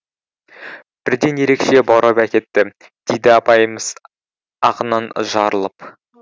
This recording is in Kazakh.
бірден ерекше баурап әкетті дейді апайымыз ағынан жарылып